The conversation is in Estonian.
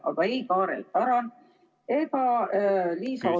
Aga ei Kaarel Tarand ega Liisa Oviir ...